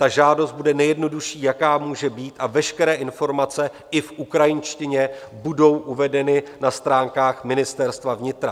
Ta žádost bude nejjednodušší, jaká může být, a veškeré informace i v ukrajinštině budou uvedeny na stránkách Ministerstva vnitra.